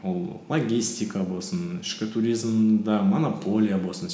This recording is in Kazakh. ол логистика болсын ішкі туризмде монополия болсын